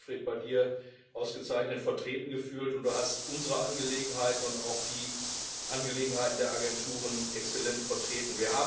Ich habe mich bei dir, Siegfried, ausgezeichnet vertreten gefühlt, und du hast unsere Angelegenheiten und auch die Angelegenheiten der Agenturen exzellent vertreten.